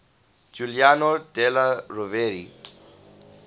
giuliano della rovere